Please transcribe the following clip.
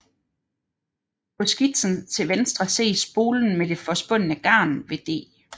På skitsen til venstre ses spolen med det forspundne garn ved D